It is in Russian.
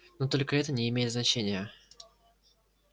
но только это не имеет значения